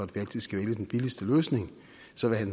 vi altid skal vælge den billigste løsning